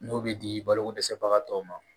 N'o bɛ di balokodɛsɛbagatɔw ma